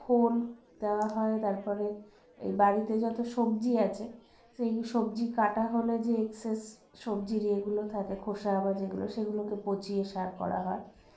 খোল দেওয়া হয় তারপরে এই বাড়িতে যতো সব্জি আছে সেই সব্জি কাটা হলে যে excess সব্জির ইয়েগুলো থাকে খোসা বা যেগুলো সেগুলোকে পঁচিয়ে সার করা হয়